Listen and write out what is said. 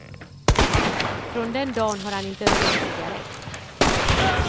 Från den dagen har han inte rökt en cigarrett.